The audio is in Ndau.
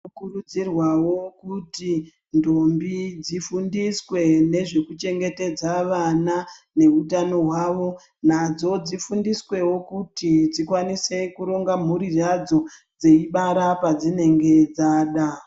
Tinokurudzirwao kuti ndombi dzifundiswe nezvekuchengetedza vana neutano hwao nadzo dzifundisweo kuti dzikwanise kuronga mhuri yadzo dzeibara padzinenge dzada.